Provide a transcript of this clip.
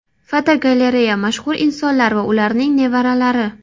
Fotogalereya: Mashhur insonlar va ularning nevaralari.